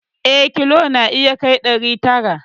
Eh, kilo na iya kai ɗari tara